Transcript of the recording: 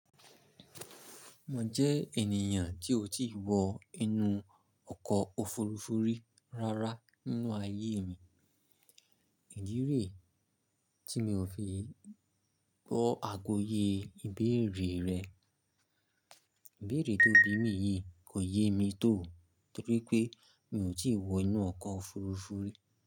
Mo jẹ́ ènìyàn tí ó ti wọ inú ọkọ̀ òfurufú rárá nínú ayé mi. Ìdí rẹ̀ tí mi ò fi bọ àgọ́yé ìbéèrè rẹ, ìbéèrè tó bí mi yìí kò yé mi tò torí pé mi ò tí wọ inú ọkọ̀ òfurufú ri.